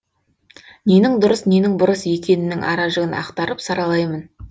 ненің дұрыс ненің бұрыс екенінің аражігін ақтарып саралаймын